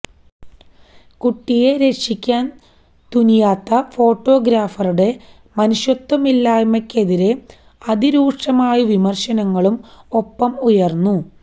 കുട്ടിയെ രക്ഷിക്കാന് തുനിയാത്ത ഫോട്ടോഗ്രാഫറുടെ മനുഷ്യത്വമില്ലായ്മയ്ക്കെതിരെ അതിരൂക്ഷമായ വിമര്ശനങ്ങളും ഒപ്പം ഉയര്ന്നു